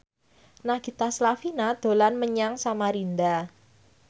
Nagita Slavina dolan menyang Samarinda